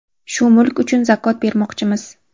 Shu mulk uchun zakot bermoqchimiz.